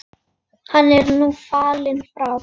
Hann er nú fallinn frá.